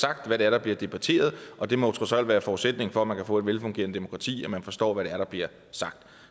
sagt hvad det er der bliver debatteret og det må trods alt være forudsætningen for at man kan få et velfungerende demokrati at man forstår hvad det er der bliver sagt